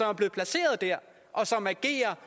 er blevet placeret der og som agerer